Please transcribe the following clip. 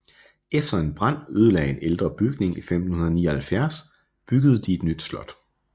Efter en brand ødelagde en ældre bygning i 1579 byggede de et nyt slot